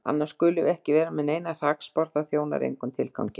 Annars skulum við ekki vera með neinar hrakspár, það þjónar engum tilgangi.